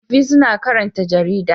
Tsofaffi suna son karanta jarida.